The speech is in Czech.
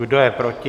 Kdo je proti?